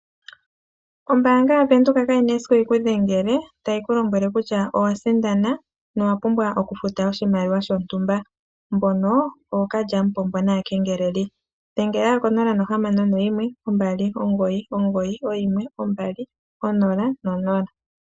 Ombanga ya venduka ka yina esiku yikudhengele tayi ku lombwele kutya owa sindana, na owa pumbwa oku futa oshimaliwa sho ntumba, mbono ookalyamupombo naakengeleli, ano dhengela konomola ndjika 0612991200.